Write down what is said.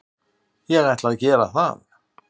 Ég ætla að gera það.